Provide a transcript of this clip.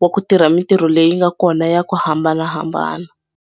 wa ku tirha mitirho leyi nga kona ya ku hambanahambana.